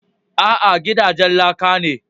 A'a, gidajen laka ne